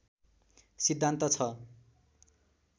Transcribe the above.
सिद्धान्त छ